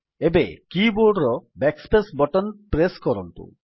ଏବେ କୀବୋର୍ଡର BackSpace button press କରନ୍ତୁ